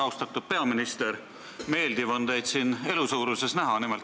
Austatud peaminister, meeldiv on teid siin elusuuruses näha.